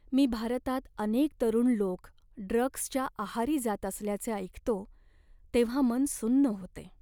मी भारतात अनेक तरुण लोक ड्रग्जच्या आहारी जात असल्याचे ऐकतो तेव्हा मन सुन्न होते.